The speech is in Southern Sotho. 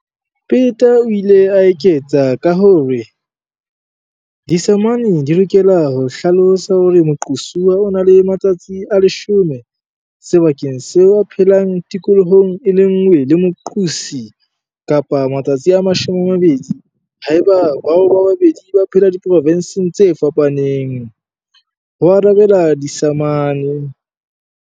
Peta o ile a eketsa ka hore- Disamane di lokela ho hlalosa hore moqosuwa o na le matsatsi a 10 - sebakeng seo a phelang tikolohong e le nngwe le moqosi, kapa matsatsi a 20 - haeba bao ba babedi ba phela diprovenseng tse fapaneng, ho arabela disamane.